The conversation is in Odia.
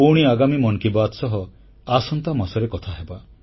ପୁଣି ଆଗାମୀ ମନ୍ କୀ ବାତ ସହ ଆସନ୍ତା ମାସରେ କଥାହେବା